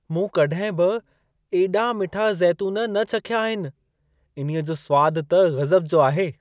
मूं कॾहिं बि एॾा मिठा ज़ेतून न चखिया आहिनि! इन्हईंअ जो सवादु त ग़ज़ब जो आहे।